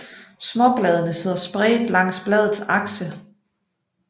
Småbladene sidder spredt langs bladets akse